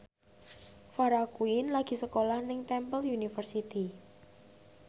Farah Quinn lagi sekolah nang Temple University